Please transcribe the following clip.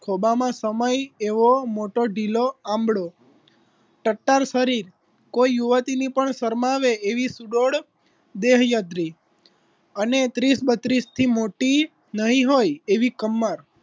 ખોબા માં સમાય એવો મોટો ઢીલો આબળો ટટ્ટાર શરીર કોઈ યુવતીની પણ શરમાવે એવી સુડોળ દેહયદ્રી અને તીસ બત્રીસ થી મોટી નહીં હોય એવી કમર